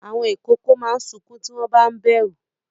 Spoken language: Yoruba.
Àwọn ìkókó máa ń sunkún tí wọ́n ba ń bẹ̀rù.